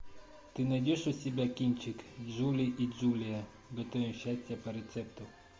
ты найдешь у себя кинчик джули и джулия готовим счастье по рецепту